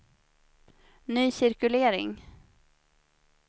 ny cirkulering